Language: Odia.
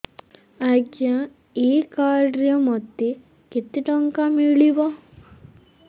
ଆଜ୍ଞା ଏଇ କାର୍ଡ ରେ ମୋତେ କେତେ ଟଙ୍କା ମିଳିବ